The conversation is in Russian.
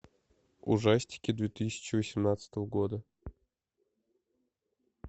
ужастики две тысячи восемнадцатого года